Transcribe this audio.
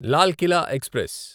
Lal Qila express